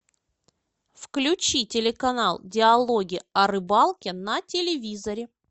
включи телеканал диалоги о рыбалке на телевизоре